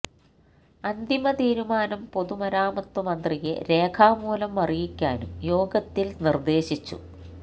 അന്തിമ തീരുമാനം പൊതുമരാമത്ത് മന്ത്രിയെ രേഖാമൂലം അറിയിക്കാനും യോഗത്തില് നിര്ദേശിച്ചു